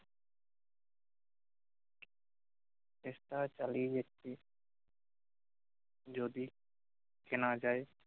চেষ্টা চালিয়ে যাচ্ছি যদি কেনা যায়